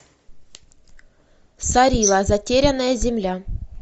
сарила затерянная земля